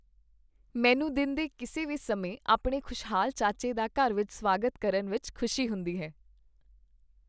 ਮੈਨੂੰ ਦਿਨ ਦੇ ਕਿਸੇ ਵੀ ਸਮੇਂ ਆਪਣੇ ਖੁਸ਼ਹਾਲ ਚਾਚੇ ਦਾ ਘਰ ਵਿੱਚ ਸਵਾਗਤ ਕਰਨ ਵਿੱਚ ਖੁਸ਼ੀ ਹੁੰਦੀ ਹੈ।